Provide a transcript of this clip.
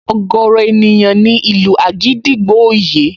Ọ̀gọ̀ọ̀rọ̀ ènìyàn ni ìlù àgídìgbo ò yé